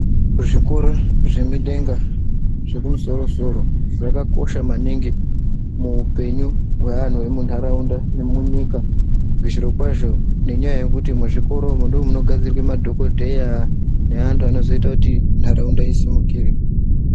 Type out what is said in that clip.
Kuzvikoro zvemidenga zvekumusoro soro zvakakosha maningi muhupenyu hweanhu emunharaunda nemunyika zvirokwazvo ngenyaya yekuti muzvikoro umu ndomunogadzorwe madhokodheya neantu anozoita kuti nharaunda isimukire.